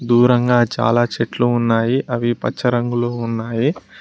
దూరంగా చాలా చెట్లు ఉన్నాయి అవి పచ్చ రంగులో ఉన్నావి.